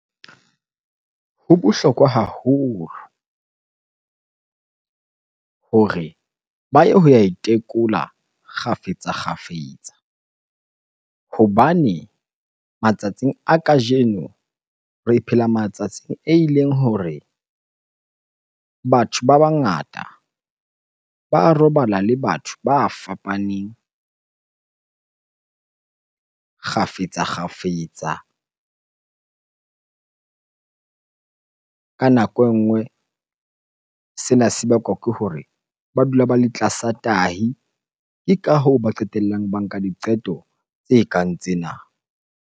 Ho bohlokwa haholo hore ba ye ho ya itekola kgafetsa-kgafetsa hobane matsatsing a kajeno re phela matsatsing eleng hore batho ba bangata ba robala le batho ba fapaneng kgafetsa-kgafetsa. Ka nako e nngwe sena se bakwa ke hore ba dula ba le tlasa tahi, ke ka hoo ba qetellang ba nka diqeto tse kang tsena.